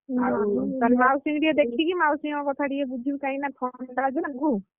ଆଉ ମାଉସୀଙ୍କୁ ଟିକେ ଦେଖିକି ଆଉ ମାଉସୀଙ୍କ କଥା ଟିକେ ବୁଝିବୁ କାହିଁକି ନା ଥଣ୍ଡା ଅଛି ନା ଆଗକୁ ।